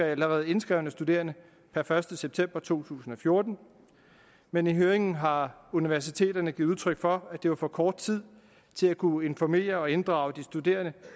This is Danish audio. allerede indskrevne studerende per første september to tusind og fjorten men i høringen har universiteterne givet udtryk for at det var for kort tid til at kunne informere og inddrage de studerende